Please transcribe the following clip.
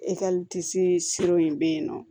in bɛ yen nɔ